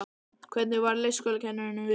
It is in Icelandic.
Hvernig varð leikskólakennurunum við?